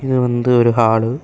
இது வந்து ஒரு ஹாளு .